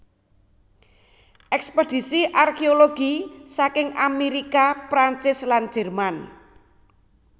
Ekspedisi arkeologi saking Amerika Perancis lan Jerman